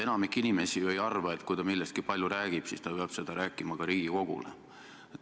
Enamik inimesi ju ei arva, et kui ta millestki palju räägib, siis ta peab seda rääkima ka Riigikogule.